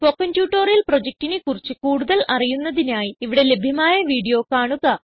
spoken tutorial പ്രൊജക്റ്റിനെ കുറിച്ച് കൂടുതൽ അറിയുന്നതിനായി ഇവിടെ ലഭ്യമായ വീഡിയോ കാണുക